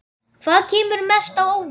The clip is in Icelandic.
Hvað kemur mest á óvart?